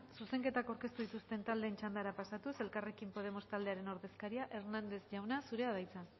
zuzenketak aurkeztu dituzten taldeen txandara pasatuz elkarrekin podemos taldearen ordezkaria hernández jauna zurea da hitza